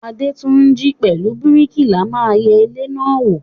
Adétúnjí àti bríkìlà ma yẹ ilé náà wò.